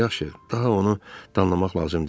Yaxşı, daha onu danlamaq lazım deyil.